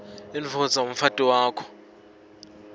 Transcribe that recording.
indvodza umfati wakho